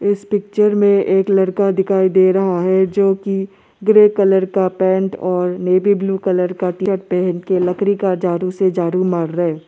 इस पिक्चर में एक लड़का दिखाई दे रहा है जो की ग्रे कलर का पैंट और नेवी ब्लू कलर का टीशर्ट पहन के लकड़ी का झाड़ू से झाड़ू मार रहा है।